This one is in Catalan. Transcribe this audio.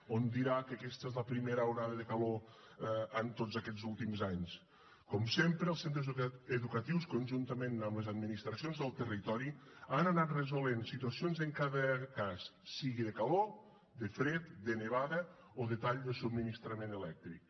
o em dirà que aquesta és la primera onada de calor en tots aquests últims anys com sempre els centres educatius conjuntament amb les administracions del territori han anat resolent situacions en cada cas sigui de calor de fred de nevada o de tall de subministrament elèctric